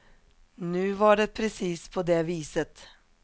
Nu var det precis på det viset.